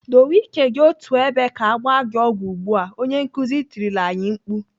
"Dowe ike gị otú ebe ka agba gị ọgwụ ugbu a!" Onye nkuzi tirila anyị mkpu.